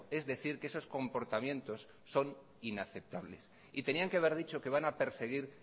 es decir que esos comportamientos son inaceptables y tenían que haber dicho que van a perseguir